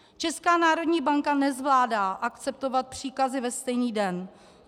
Česká národní banka nezvládá akceptovat příkazy ve stejný den.